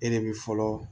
E de bɛ fɔlɔ